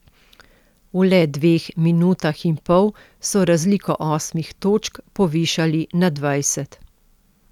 V le dveh minutah in pol so razliko osmih točk povišali na dvajset.